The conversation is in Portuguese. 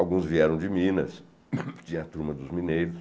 Alguns vieram de Minas, tinha a turma dos mineiros.